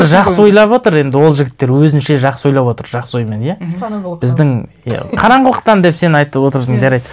жақсы ойлап отыр енді ол жігіттер өзінше жақсы ойлап отыр жақсы оймен иә мхм қараңғылықтан біздің иә қараңғылықтан деп сен айтып отырсың жарайды